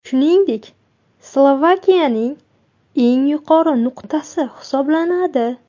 Shuningdek, Slovakiyaning eng yuqori nuqtasi hisoblanadi.